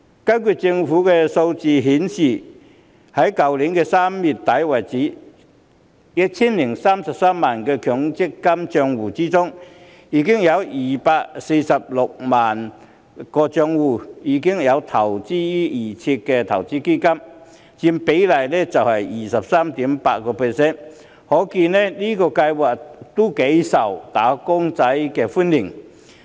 根據政府的數字顯示，截至今年3月底為止，在 1,033 萬個強積金帳戶之中，有246萬個帳戶已經選擇預設投資策略成分基金，所佔比例為 23.8%， 可見這個計劃亦頗受"打工仔"歡迎。